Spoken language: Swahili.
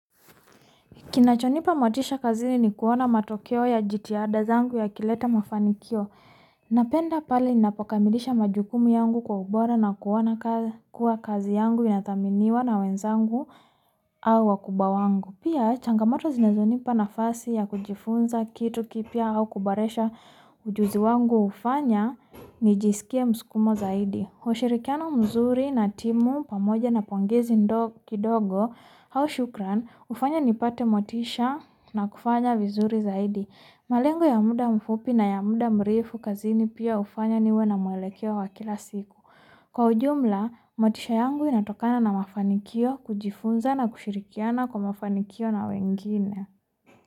Kinachonipa motisha kazini ni kuona matokeo ya jitihada zangu yakileta mafanikio. Napenda pale ninapokamilisha majukumu yangu kwa ubora na kuona kuwa kazi yangu inathaminiwa na wenzangu au wakubwa wangu. Pia changamato zinazonipa nafasi ya kujifunza kitu kipya au kuboresha ujuzi wangu hufanya nijisikia mskumo zaidi. Ushirikiano mzuri na timu pamoja na pongezi kidogo au shukran hufanya nipate motisha na kufanya vizuri zaidi. Malengo ya muda mfupi na ya muda mrefu kazini pia hufanya niwe na mwelekeo wa kila siku. Kwa ujumla motisha yangu inatokana na mafanikio kujifunza na kushirikiana kwa mafanikio na wengine.